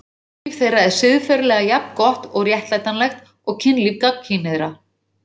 Kynlíf þeirra er siðferðilega jafn gott og réttlætanlegt og kynlíf gagnkynhneigðra.